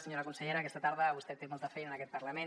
senyora consellera aquesta tarda vostè té molta feina en aquest parlament